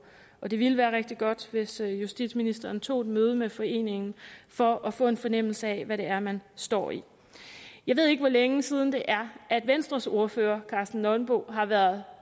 og det ville være rigtig godt hvis justitsministeren tog et møde med foreningen for at få en fornemmelse af hvad det er man står i jeg ved ikke hvor længe siden det er at venstres ordfører karsten nonbo har været